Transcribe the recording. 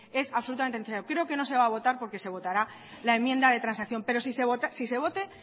es absolutamente necesario creo que no se va a votar porque se votará la enmienda de transacción pero si se vota dé